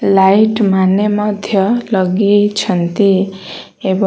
light ମାନେ ମଧ୍ୟ ଲଗେଇଛନ୍ତି ଏବଂ --